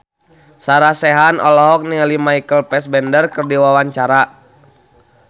Sarah Sechan olohok ningali Michael Fassbender keur diwawancara